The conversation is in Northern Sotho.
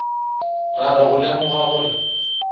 ra re go lemoga gore